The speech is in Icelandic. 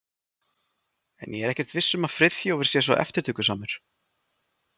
En ég er ekkert viss um að Friðþjófur sé svo eftirtökusamur.